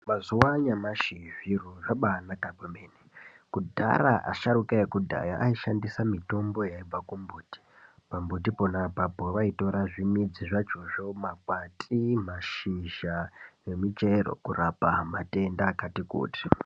Mazuwa anyamashi zviro zvabaanaka kwemene kudhara asharuka ekudhaya aishandisa mitombo yaibva kumbuti pambuti pona apapo vaitora zvimidzi zvachozvo makwati mashizha nezvimuchero kurapa matenda akati kuti.